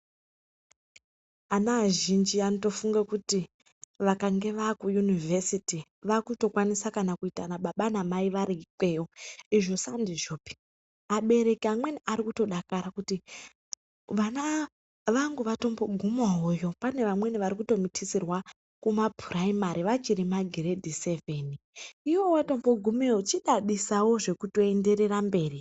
Ana azhinji vanofunga kuti kana vana vapachikora chepaderadera vakutokwanisa kuitana baba namai variikweyo izvo sandizvopi abereki amweni arikutodakara kuti vana vangu vatombo gumawoyo pane vamweni vari kutomitiswa vari kumapurayimari vachiri magiredhi sevheni iwewe watombogumeyo chidadisawo zvekuto enderera mberi.